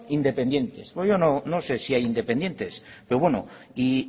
independientes yo no sé si hay independientes pero bueno y